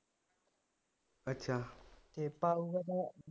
ਅੱਛਾ